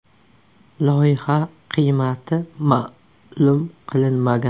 Loyiha qiymati ma’lum qilinmagan.